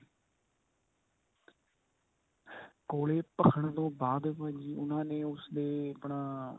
ਕੋਲੇ ਭਖਣ ਤੋਂ ਬਾਅਦ ਭਾਜੀ ਉਨ੍ਹਾਂ ਨੇ ਉਸ ਦੇ ਆਪਣਾ